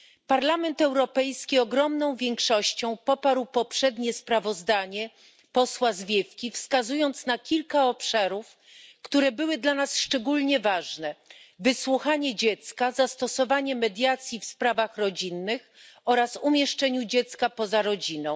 Parlament Europejski poparł zdecydowaną większością poprzednie sprawozdanie posła Zwiefki, wskazując kilka obszarów, które były dla nas szczególnie ważne wysłuchanie dziecka, zastosowanie mediacji w sprawach rodzinnych oraz umieszczenie dziecka poza rodziną.